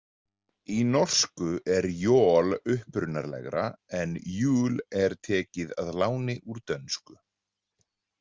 Í norsku er jol upprunalegra, en jul er tekið að láni úr dönsku.